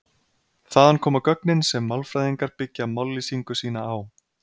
Þaðan koma gögnin sem málfræðingar byggja mállýsingu sína á.